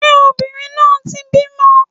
Ṣé obìnrin náà ti bímọ?